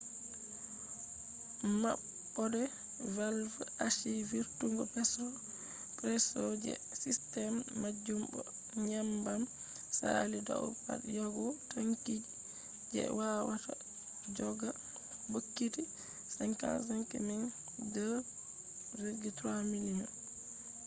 maɓɓode valv achi vurtungo presso je sistem majum bo nyebbam saali dau pad yahugo tanki je wawata joga bokiti 55,000 2.3 miliyon